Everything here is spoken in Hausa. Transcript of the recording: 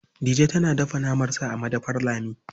Dije tana dafa naman sa a madafar Lami.